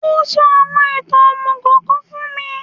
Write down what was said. Ó sọ àwọn ìtàn òmùgò kan fún mi